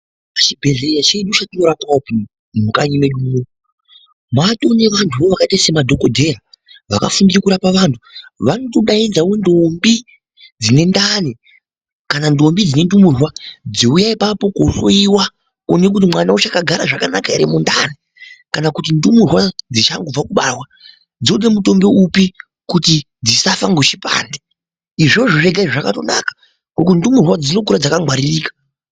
Zvibhedlera zvedu zvatinorapwa mukanyi medu muno, maatone nevanhuwo vakaita sema dhokodheya vakafunde kurape anhu vanotodaidze ntombi dzinendani, kana ntombi dzine ndurumwa dziwuye ipapo kuhloriwa kuwonkwe kuti ana wacho akagara zvakanaka muntani kana kuti ndumurwa dzichangobva kubarwa dzode mutombo upi kuti dzisafe nge chipande. Izvozvo zvega zvakato naka ndumurwa dzinokura dzakangwaririka.